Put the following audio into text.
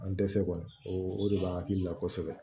An dɛsɛ kɔni o de b'an hakili la kosɛbɛ